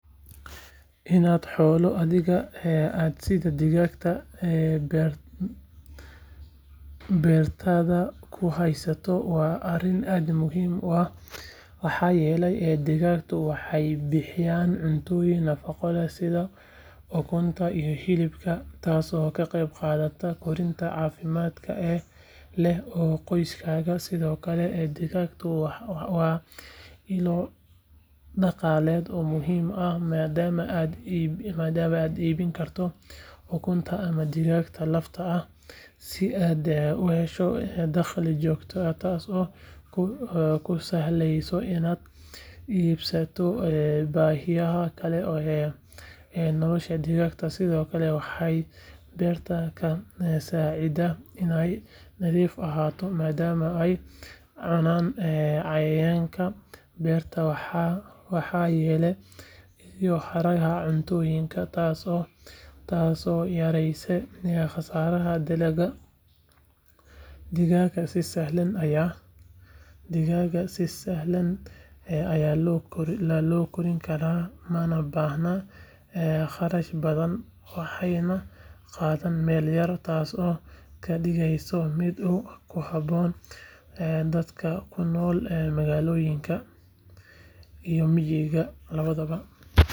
Inaad xoolo adhiga ah sida digaagga beertaada ku hayso waa arrin aad muhiim u ah maxaa yeelay digaaggu waxay bixiyaan cuntooyin nafaqo leh sida ukunta iyo hilibka taasoo ka qayb qaadata koritaanka caafimaadka leh ee qoyskaaga sidoo kale digaagga waa ilo dhaqaaled oo muhiim ah maadaama aad iibin karto ukunta ama digaagga lafta ah si aad u hesho dakhli joogto ah taasoo kuu sahlaysa inaad iibsato baahiyaha kale ee nolosha digaagga sidoo kale waxay beerta ka saacidaan inay nadiif ahaato maadaama ay cunaan cayayaanka beerta waxyeeleeya iyo haraaga cuntooyinka taasoo yareyneysa khasaaraha dalagga digaagga si sahlan ayaa loo kori karaa mana baahna kharash badan waxayna qaataan meel yar taasoo ka dhigaysa mid ku habboon dadka ku nool magaalooyinka iyo miyiga labadaba.